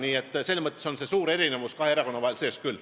Nii et selles mõttes on suur erinevus kahe erakonna vahel küll.